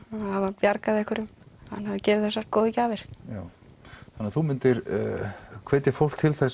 hafi bjargað einhverjum að hann hafi gefið þessar góðu gjafir já þannig þú myndir hvetja fólk til